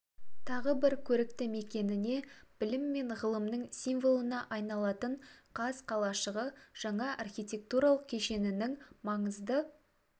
тағы бір көрікті мекеніне білім мен ғылымның символына айналатын қаз қалашығы жаңа архитектуралық кешенінің маңызды